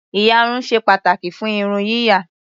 Ìyarun ṣe pàtàkì fún irun yíyà.